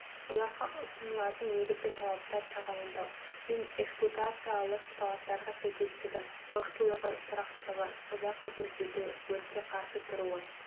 оларға ұсынылатын негізгі талаптар тағайындау мен эксплуатациялық талаптарға сәйкестігі мықтылығы тұрақтылығы ұзақ қызмет етуі өртке қарсы тұруы